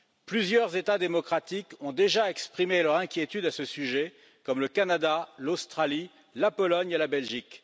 Plusieurs États démocratiques ont déjà exprimé leur inquiétude à ce sujet, comme le Canada, l'Australie, la Pologne et la Belgique.